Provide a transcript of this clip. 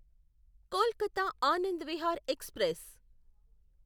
Kolkata Anand Vihar express